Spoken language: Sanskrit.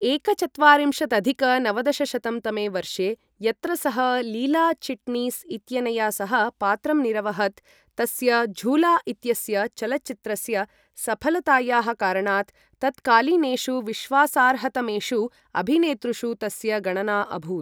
एकचत्वारिंशदधिक नवदशशतं तमे वर्षे यत्र सः लीला चिट्णीस् इत्यनया सह पात्रं निरवहत्, तस्य झूला इत्यस्य चलच्चित्रस्य सफलतायाः कारणात् तत्कालीनेषु विश्वासार्हतमेषु अभिनेतृषु तस्य गणना अभूत्।